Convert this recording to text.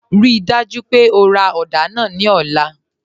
Ríì dájú pé ó rá odà náà ní ọ̀lá.